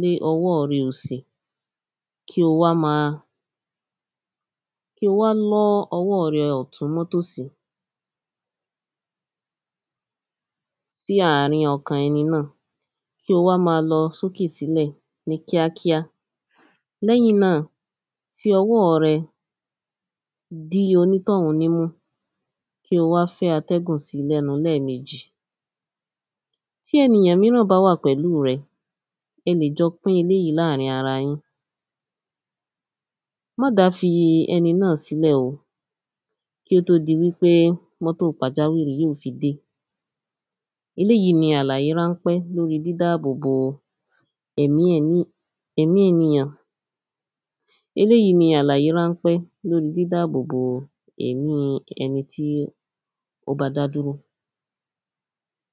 lé ọwọ́ rẹ òsì kí o wá má kí o wá lọ́ ọwọ́ rẹ tọ̀tún mọ́ tòsì. Sí àrin ọkàn ẹni náà kó wá má lọ sókè sílẹ̀ ní kíákíá lẹ́yìn náà fi ọwọ́ rẹ dí onítọ̀hún nímú kí o wá fẹ́ atẹ́gùn sí lẹ́nu lẹ́mejì. Tí ènìyàn míràn bá wà pẹ̀lú rẹ ẹ lè jọ pín eléèyí láàrin ara yín má dá fi ẹni náà sílẹ̀ o kí ó tó di wípé mọ́tò pàjáwìrì náà yó fi dé. Elêjí ni àlàyé ránpẹ́ lórí dídábò bo ẹ̀mí ẹ̀mí ènìyàn elêjí ni àlàyé ránpẹ́ lórí dídàbò bo ẹ̀mí ẹni tí ó bá dá dúró.